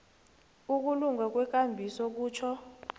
ukulunga kwekambiso kutjho